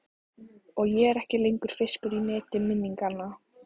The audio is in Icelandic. Og ég er ekki lengur fiskur í neti minninganna.